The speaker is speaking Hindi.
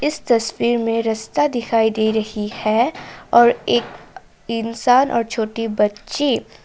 इस तस्वीर में रस्ता दिखाई दे रही है और एक इंसान और छोटी बच्ची।